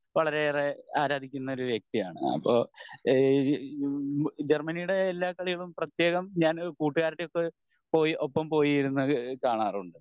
വളരേയേറെ ആരാധിക്കുന്ന ഒരു വ്യക്തി ആണ് അപ്പൊ ഈഹ് ജർമ്മനീടെ എല്ലാ കളികളും പ്രത്യേകം ഞാൻ കൂട്ടുകാരുടെ ഒക്കെ പോയി ഒപ്പം പോയി ഇരുന്ന് കാണാറുണ്ട്